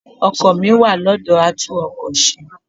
Ọkọ̀ mi wà lọ́dọ̀ a tún ọkọ ṣe.